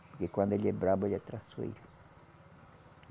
Porque quando ele é bravo, ele é traiçoeiro.